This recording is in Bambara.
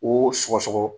O sɔgɔsɔgɔ